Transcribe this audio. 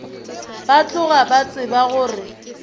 ba tloga ba tseba gore